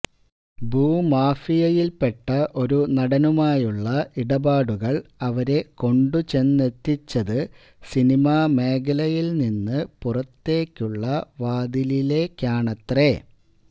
ഭൂമാഫിയയില്പ്പെട്ട ഒരു നടനുമായുള്ള ഇടപാടുകള് അവരെ കൊണ്ടുചെന്നെത്തിച്ചത് സിനിമാ മേഖലയില്നിന്ന് പുറത്തേക്കുള്ള വാതിലിലേക്കാണത്രെ